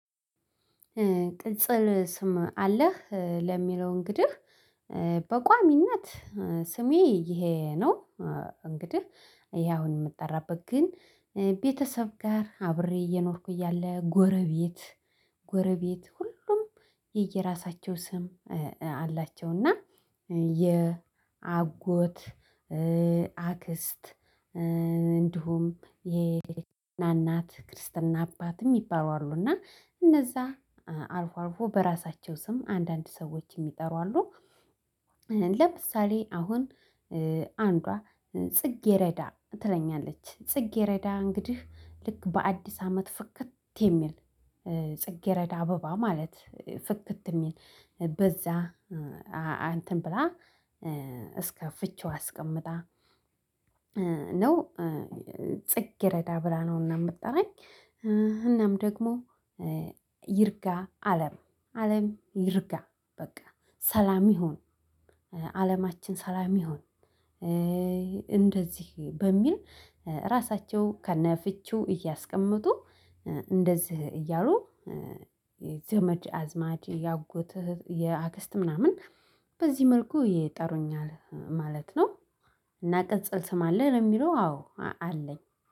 ቅጽል ስም አለህ ለሚለው እንግዲህ እ በቋሚነት ስሜ ይሄ ነው። እንግዲህ ይሄ አሁን የምጠራበት ግን ቤተሰብ ጋር አብሬ እየኖርኩ እያለ ጎረቤት ጎረቤት ሁሉም የየራሳቸው ስም አላቸው። እና የአጎት እ አክስት እ እንዲሁም የናናት ክርስትና አባትም የሚባሉ አሉና እነዛ አልፎ አልፎ በራሳቸው ስም አንዳንድ ሰዎች የሚጠሩ አሉ። እ ለምሳሌ አሁን አንዷ ጽጌረዳ ትለኛለች ጽጌረዳ እንግዲህ ልክ በአዲስ አመት ፍክት የሚል ጽጌረዳ አበባ ማለት ፍክት የሚል በዛ አንተን ብላ እ እስከ ፍቺዋ አስቀምጣ እ ነው እ ጽጌረዳ ብላ ነውና። የምጠራኝ እናም ደግሞ እ ይርጋ አለም አለም ይርጋ በቃ ሰላም ይሁን አለማችን ሰላም ይሁን። እ እንደዚህ በሚል እራሳቸው ከነፍቺው እያስቀመጡ እ እንደዚህ እያሉ የዘመድ አዝማድ የአጎት የአክስት ምናምን በዚህ መልኩ ይጠሩኛል ማለት ነው። እና ቅጽል ስም አለ ለሚለው አዎ አለኝ